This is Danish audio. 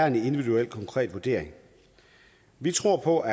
en individuel konkret vurdering vi tror på